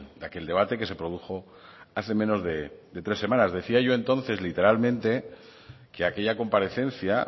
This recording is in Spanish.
de aquel debate que se produjo hace menos de tres semanas decía yo entonces literalmente que aquella comparecencia